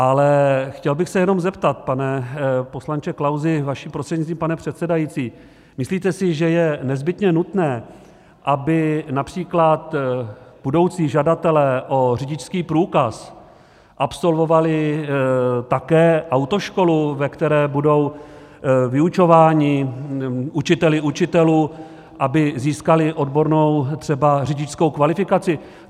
Ale chtěl bych se jenom zeptat, pane poslanče Klausi, vaším prostřednictvím, pane předsedající, myslíte si, že je nezbytně nutné, aby například budoucí žadatelé o řidičský průkaz absolvovali také autoškolu, ve které budou vyučováni učiteli učitelů, aby získali odbornou, třeba řidičskou kvalifikaci?